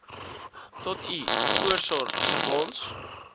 tot u voorsorgsfonds